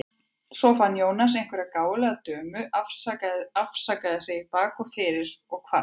Svo fann Jónas einhverja gáfulega dömu, afsakaði sig í bak og fyrir og hvarf.